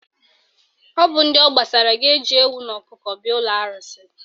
Ọ bụ ndị ọ gbasara ga-eji ewu na ọkụkọ bịa ụlọ arụsị